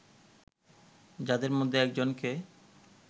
যাদের মধ্যে একজনকে